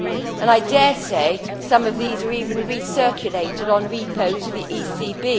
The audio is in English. And I dare say some of these were even recirculated on repo to the ECB.